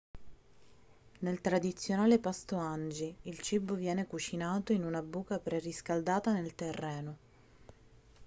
nel tradizionale pasto hangi il cibo viene cucinato in una buca preriscaldata nel terreno